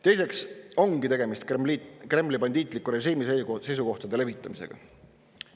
Teiseks ongi tegemist Kremli bandiitliku režiimi seisukohtade levitamisega.